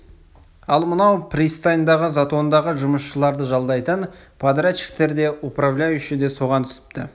ал мынау пристаньдағы затондағы жұмысшыларды жалдайтын подрядчиктер де управляющий де соған түсіпті